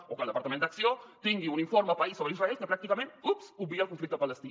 o que el departament d’acció tingui un informe paisa sobre israel que pràcticament oops obvia el conflicte palestí